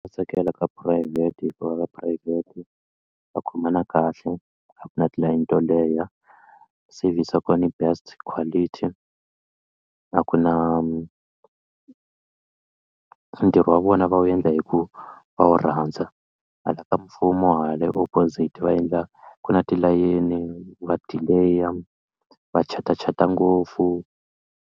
Tsakela ka phurayivhete hikuva ka phurayivhete va khomana kahle a ku na tilayini to leha service ya kona yi best quality a ku na ntirho wa vona va wu endla hi ku va wu rhandza hala ka mfumo hala i opposite va endla ku na tilayeni va delay va chatachata ngopfu.